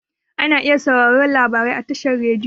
Ana iya sauraren labarai a tashar rediyo.